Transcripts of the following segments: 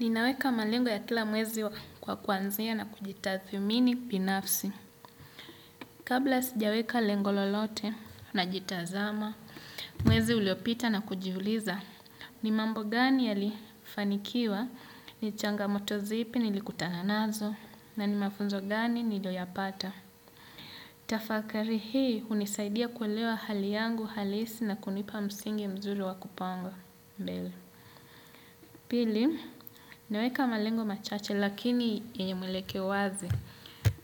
Ninaweka malengo ya tila mwezi kwa kuanzia na kujitathmini pinafsi. Kabla sijaweka lengo lolote najitazama, mwezi uliopita na kujiuliza. Ni mambo gani ya lifanikiwa, ni changamoto zipi ni likutananazo, na ni mafunzo gani nilioyapata. Tafakari hii unisaidia kuelewa hali yangu halisi na kunipa msingi mzuri wa kupanga. Pili, naweka malengo machache lakini yenye mwelekeo wazi.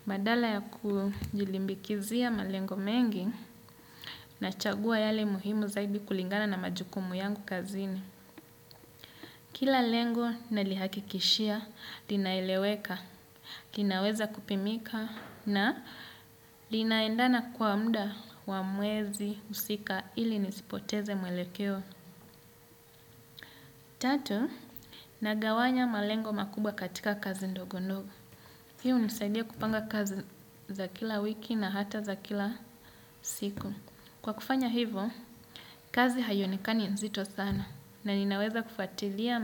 Badala ya kujilimbikizia malengo mengi nachagua yale muhimu zaidi kulingana na majukumu yangu kazini. Kila lengo nalihakikishia, linaeleweka, linaweza kupimika na linaendana kwa muda wa mwezi husika ili nisipoteze mwelekeo. Tatu, nagawanya malengo makubwa katika kazi ndogo ndogo. Hii unisaidia kupanga kazi za kila wiki na hata za kila siku. Kwa kufanya hivo, kazi haiyonikani nzito sana. Na ninaweza kufatilia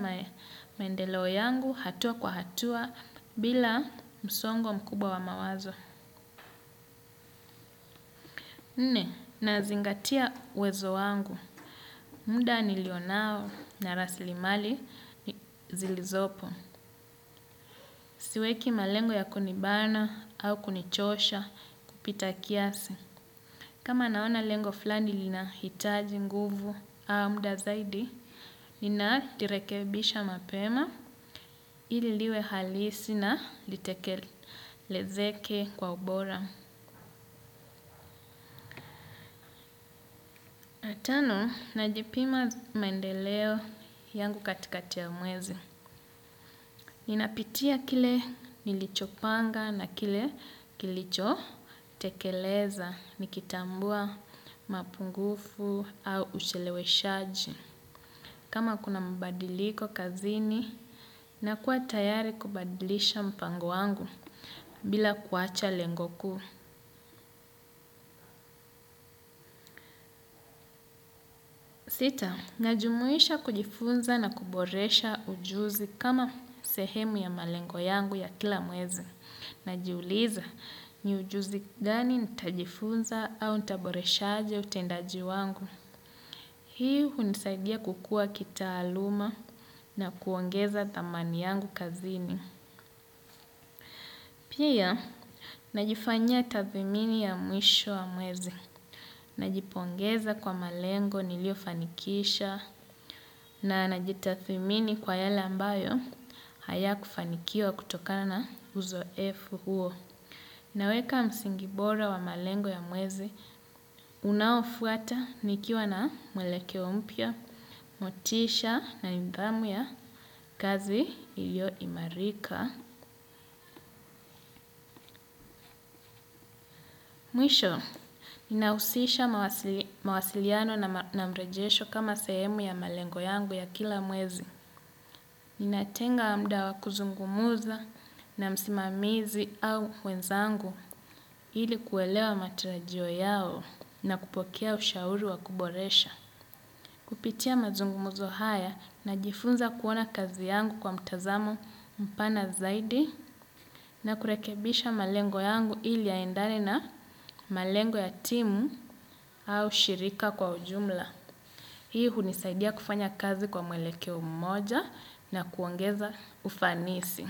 maendelewe yangu hatua kwa hatua bila msongo mkubwa wa mawazo. Nne, nazingatia uwezo wangu. Muda nilionao na rasilimali zilizopo. Siweki malengo ya kunibana au kunichosha kupita kiasi. Kama naona lengo fulani linahitaji nguvu au muda zaidi, nina irekebisha mapema ili liwe halisi na litekelezeke kwa ubora. Na tano, najipima mendeleo yangu katikati ya mwezi. Ninapitia kile nilicho panga na kile kilicho tekeleza nikitambua mapungufu au ucheleweshaji. Kama kuna mbadiliko kazini, nakuwa tayari kubadilisha mpango wangu bila kuacha lengo kuu. Sita, najumuisha kujifunza na kuboresha ujuzi kama sehemu ya malengo yangu ya kila mwezi. Najiuliza ni ujuzi gani nitajifunza au nitaboreshaje utendaji wangu. Hii unisaidia kukua kitaaluma na kuongeza dhamani yangu kazini. Pia, najifanyia tathimini ya mwisho wa mwezi. Najipongeza kwa malengo nilio fanikisha na najitathmini kwa yale ambayo haya kufanikiwa kutokana na uzoefu huo. Naweka msingi bora wa malengo ya mwezi, unaofuata nikiwa na mwelekeo mpya, motisha na nidhamu ya kazi ilio imarika. Mwisho, nahusisha mawasiliano na mrejesho kama sehemu ya malengo yangu ya kila mwezi. Natenga muda wa kuzungumuza na msimamizi au wenzangu ili kuelewa matarajio yao na kupokea ushauri wa kuboresha. Kupitia mazungumuzo haya najifunza kuona kazi yangu kwa mtazamo mpana zaidi. Na kurekebisha malengo yangu ili yaendane na malengo ya timu au shirika kwa ujumla. Hii hunisaidia kufanya kazi kwa mwelekeo mmoja na kuongeza ufanisi.